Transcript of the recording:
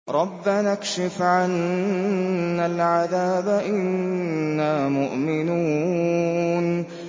رَّبَّنَا اكْشِفْ عَنَّا الْعَذَابَ إِنَّا مُؤْمِنُونَ